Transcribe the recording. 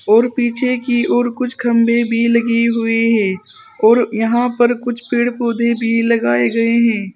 और पीछे की और कुछ खंभे भी लगे हुए हैं और यहां पर कुछ पेड़ पौधे भी लगाए गए हैं।